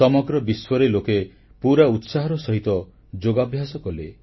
ସମଗ୍ର ବିଶ୍ୱରେ ଲୋକେ ପୁରା ଉତ୍ସାହର ସହିତ ଯୋଗାଭ୍ୟାସ କଲେ